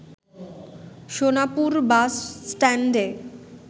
Sonapur bus স্ট্যান্ডে